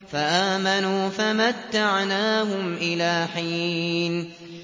فَآمَنُوا فَمَتَّعْنَاهُمْ إِلَىٰ حِينٍ